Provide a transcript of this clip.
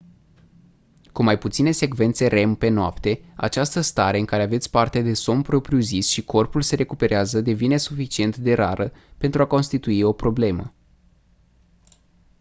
cu mai puține secvențe rem pe noapte această stare în care aveți parte de somn propriu-zis și corpul se recuperează devine suficient de rară pentru a constitui o problemă